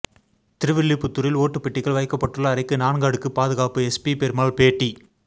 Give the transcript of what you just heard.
திருவில்லிபுத்தூரில் ஓட்டுப் பெட்டிகள் வைக்கப்பட்டுள்ள அறைக்கு நான்கு அடுக்கு பாதுகாப்பு எஸ்பி பெருமாள் பேட்டி